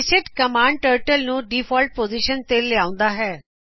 reset command turtle ਨੂੰ default position ਤੇ ਲਿਹਾਓਂਦਾ ਹੈ